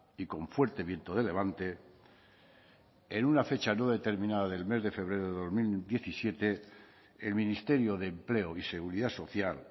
y con fuerte viento de levante en una fecha no determinada del mes de febrero del dos mil diecisiete el ministerio de empleo y seguridad social